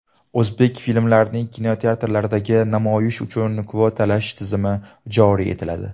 O‘zbek filmlarining kinoteatrlardagi namoyishi uchun kvotalash tizimi joriy etiladi.